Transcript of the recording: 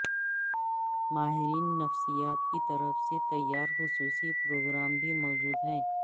ماہرین نفسیات کی طرف سے تیار خصوصی پروگرام بھی موجود ہیں